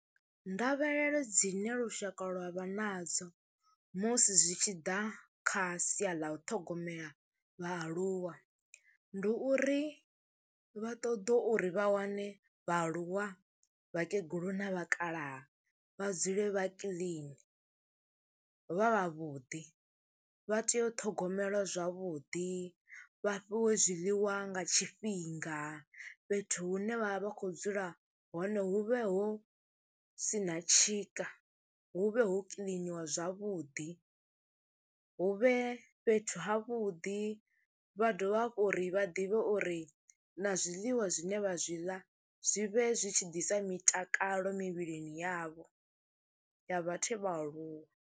Ndavhelelo dzine lushaka lwa vha nadzo musi zwi tshi ḓa kha sia ḽa u ṱhogomela vhaaluwa, ndi uri vha ṱoḓe uri vha wane vhaaluwa, vhakegulu na vhakalaha vha dzule vha kiḽini, vha vhavhuḓi, vha tea u ṱhogomelwa zwavhuḓi, vha fhiwe zwiḽiwa nga tshifhinga, fhethu hune vha vha vha khou dzula hone hu vhe hu si na tshika hu vhe ho kiḽiniwa zwavhuḓi. Hu vhe fhethu havhuḓi, vha dovha hafhu uri vha ḓivhe uri na zwiḽiwa zwine vha zwi ḽa zwi vhe zwi tshi ḓisa mitakalo mivhilini yavho ya vhathu vha aluwa.